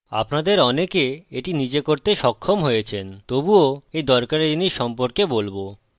আপনাদের অনেকে এটি নিজে করতে সক্ষম হয়েছেন তবুও এই দরকারী জিনিস সম্পর্কে বলবো